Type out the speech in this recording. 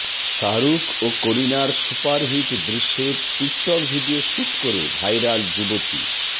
শাহরুখ ও করিনার সুপারহিট দৃশ্যের টিকটক ভিডিও শ্যুট করে ভাইরাল যুবতী